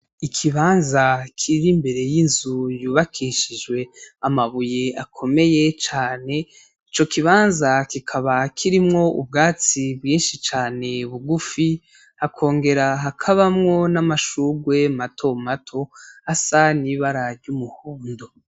Ikibanza kiri imbere y'inzu yubakishijwe amabuye akomeye cane, ico kibanza kikaba kirimwo ubwatsi bwinshi cane bugufi, hakongera hakabamwo n'amashurwe matomato asa n'ibara ry'umuhondo.